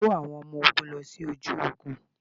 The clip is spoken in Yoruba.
Kó àwọn ọmọ ogún lọ sí ojú ogún.